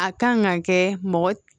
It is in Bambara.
A kan ka kɛ mɔgɔ